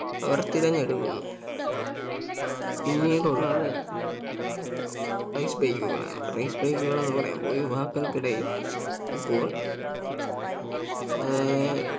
അവർ തെരഞ്ഞെടുക്കുന്നു പിന്നീടുള്ളത് Race bike കളാണ് Race bike കൾ എന്ന് പറയുമ്പോ യുവാക്കൾക്കിടയിൽ ഇപ്പോൾ ഏർ